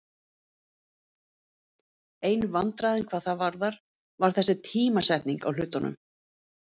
Einu vandræðin hvað það varðar var þessi tímasetning á hlutunum.